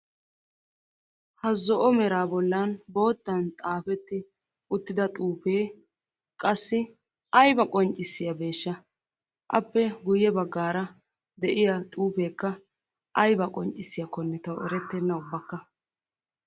Ha zo'o meera bollan bootan xaafetti uttida xuufee qassi aybaa qoncciyaabeeshsha appe guyye baggaara de'iyaa xuufekka aybaa qonccissiyaakkonne tawu erettena ubbakka.